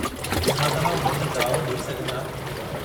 छा तव्हां उन्हनि जा जवाब ॾेई सघंदा?